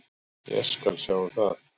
Ég skal sjá um það.